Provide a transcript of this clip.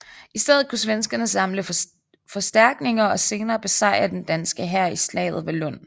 I stedet kunne svenskerne samle forstærkninger og senere besejre den danske hær i slaget ved Lund